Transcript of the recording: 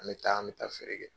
An bɛ taa an bɛ taa feere kɛ.